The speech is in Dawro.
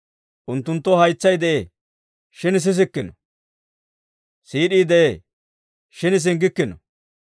Unttunttoo haytsay de'ee; shin sissikkino; siid'ii de'ee; shin singgikkino.